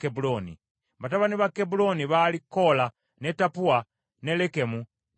Batabani ba Kebbulooni baali Koola, ne Tappua, ne Lekemu, ne Sema.